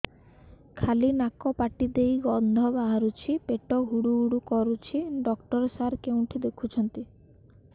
ଖାଲି ନାକ ପାଟି ଦେଇ ଗଂଧ ବାହାରୁଛି ପେଟ ହୁଡ଼ୁ ହୁଡ଼ୁ କରୁଛି ଡକ୍ଟର ସାର କେଉଁଠି ଦେଖୁଛନ୍ତ